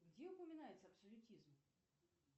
где упоминается абсолютизм